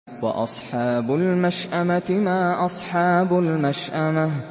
وَأَصْحَابُ الْمَشْأَمَةِ مَا أَصْحَابُ الْمَشْأَمَةِ